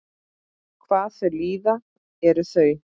Hvað þau líða eru þau?